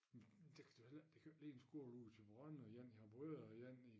Det kan du heller ikke det kan jo ikke blive en skole ude i Thyborøn og en i Harboøre og en i